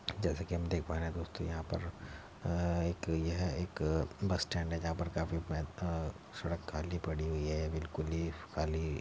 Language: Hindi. जैसे कि हम देख पा रहे हैं दोस्तो यहां पर अ एक यह एक बस स्टैंड है जहां पर अ काफी सड़क खाली पडी हुई है बिल्कुल ही खाली --